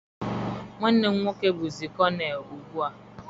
Nwanne m nwoke bụzi konel ugbu a.